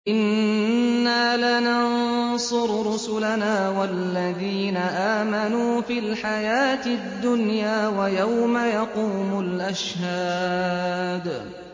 إِنَّا لَنَنصُرُ رُسُلَنَا وَالَّذِينَ آمَنُوا فِي الْحَيَاةِ الدُّنْيَا وَيَوْمَ يَقُومُ الْأَشْهَادُ